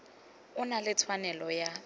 o na le tshwanelo ya